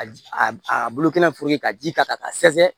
A a a bulu kɛnɛ furunu ka ji ka ka sɛsɛ